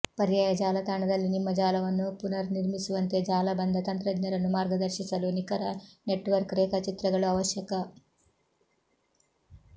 ಪರ್ಯಾಯ ಜಾಲತಾಣದಲ್ಲಿ ನಿಮ್ಮ ಜಾಲವನ್ನು ಪುನರ್ನಿರ್ಮಿಸುವಂತೆ ಜಾಲಬಂಧ ತಂತ್ರಜ್ಞರನ್ನು ಮಾರ್ಗದರ್ಶಿಸಲು ನಿಖರ ನೆಟ್ವರ್ಕ್ ರೇಖಾಚಿತ್ರಗಳು ಅವಶ್ಯಕ